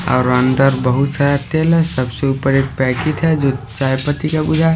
और अंदर बहुत सारा तेल है सबसे ऊपर एक पैकेट है जो चाय पट्टी का बुझा--